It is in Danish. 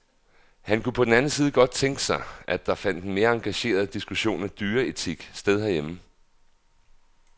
Han kunne på den anden side godt tænke sig, at der fandt en mere engageret diskussion af dyreetik sted herhjemme.